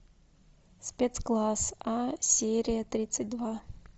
спецкласс а серия тридцать два